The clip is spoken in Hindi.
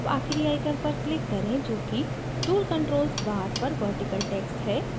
अब आखिरी icon पर click करें जोकि tool controls bar पर vertical text है